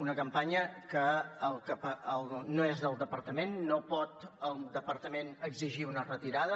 una campanya que no és del departament no pot el departament exigir ne una retirada